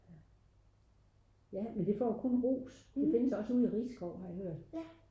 men det får kun ros det findes vist også ude i RIsskov